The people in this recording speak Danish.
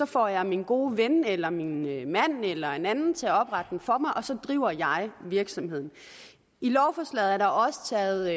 får jeg min gode ven eller min mand eller en anden til at oprette den for mig og så driver jeg virksomheden i lovforslaget er der også taget